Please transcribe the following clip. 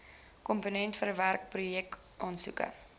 komponent verwerk projekaansoeke